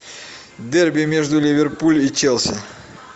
дерби между ливерпуль и челси